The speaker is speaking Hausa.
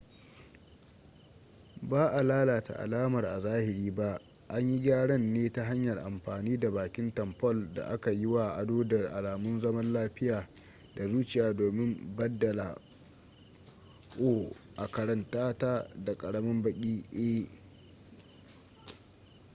ba a lalata alamar a zahiri ba an yi gyaran ne ta hanyar amfani da bakin tamfol da aka yi wa ado da alamun zaman lafiya da zuciya domin baddala o a karanta ta da ƙaramin baki e